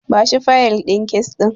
Bashi fayil din kes ɗin.